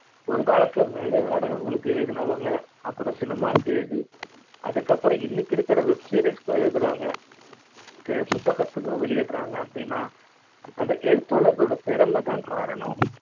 ஒரு காலத்தில் மேடை நாடக ங்களுக்கு எழுதினவங்க அப்புறம் cinema எழுதி அதுக்கப்புறம் இன்னைக்கு இருக்கிற web series க்கு எழுதுறாங்க புத்தகத்துக்கும் வெளியிடுறாங்க அப்டினா அந்த எழுத்தாளர்ளோட திறமை தான் காரணம்